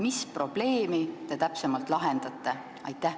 Mis probleemi te täpsemalt lahendate?